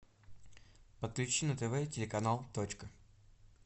подключи на тв телеканал точка